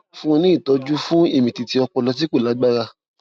fún un ní ìtọjú fún ìmìtìtì ọpọlọ tí kò lágbára